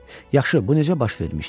Yaxşı, bu necə baş vermişdi?